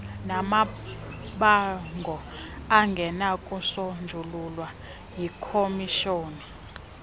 namabango angenakusonjululwa yikhomishoni